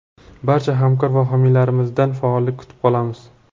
Barcha hamkor va homiylarimizdan ham faollik kutib qolamiz.